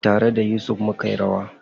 Tare da Yusuf mukeyi rawa.